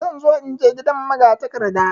Zan zo inje gidan magatakarda.